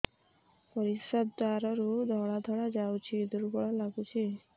ପରିଶ୍ରା ଦ୍ୱାର ରୁ ଧଳା ଧଳା ଯାଉଚି ଦୁର୍ବଳ ଲାଗୁଚି